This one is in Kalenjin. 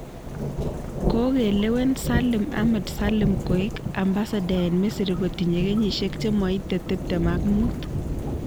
Kokelewen Salim Ahmed Salim koek ambassador eng Misri kotinye kenyisiek che moitei tiptem ak muut.